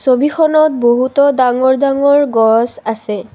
ছবিখনত বহুতো ডাঙৰ ডাঙৰ গছ আছে।